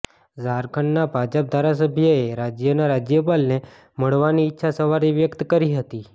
ઝારખંડના ભાજપ ધારાસભ્યએ રાજ્યના રાજ્યપાલને મળવાની ઈચ્છા સવારે વ્યક્ત કરી હતી